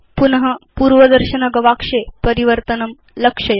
पुन पूर्वदर्शनगवाक्षे परिवर्तनं लक्षयतु